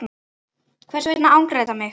Hvers vegna angrar þetta mig?